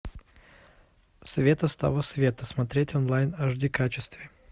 света с того света смотреть онлайн в аш ди качестве